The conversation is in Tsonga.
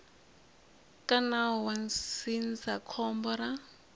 ka nawu wa ndzindzakhombo ra